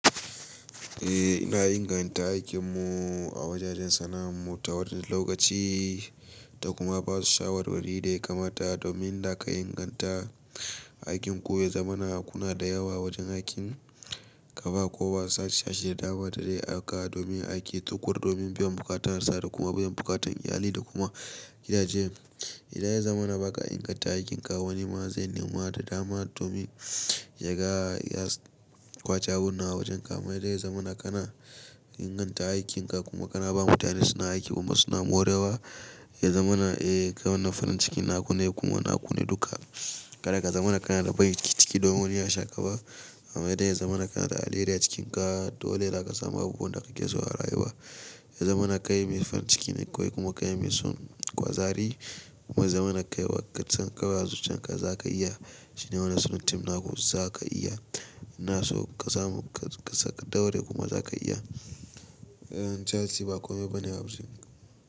Eh ina inganta aikin mu a wajajen sana'ar mu ta wajen lokaci. Ta kuma ba su shawarwari da ya kamata domin da aka inganta aikin ko ya zamana kuna da yawa wajen aikin kaba kowa sashin da dama da dai aga domin aiki tukuru domin biyan buƙatar sa da kuma biyan buƙatun iyali da kuma gida jen. Idan ya zamana ba ka inganta aikinka wani ma zai nema da dama domin ya ga ya kwace abun nan a wajen ka amma idan ya zamana kana inganta aikin ka kuma kana ba mutane suna aiki kuma suna morewa ya zamana eh kai wannan farin cikin na kune kuma na kune duka. Kada ka zamana ka na da ban ciki domin wanibya shaƙa ba amma idan ya zamana kana da alheri a cikin ka dole za ka samu abubuwan da kake so a rayuwa. Ya zamana kai mai farin ciki ne kai kuma kai mai son kwazari kuma ya zamana ka yi wa katsan kawai a zuciyarka za ka iya shine wanan sunan team naku za ka iya. Ina so ka samu ka daure kuma za ka iya. Yan jansi ba komai ba ne a wajen.